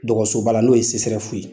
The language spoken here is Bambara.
Dɔgɔsoba la n'o ye ye.